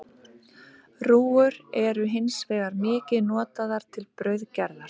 Rúgur eru hins vegar mikið notaðar til brauðgerðar.